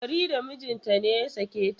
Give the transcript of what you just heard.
Farida mijinta ne ya sake ta.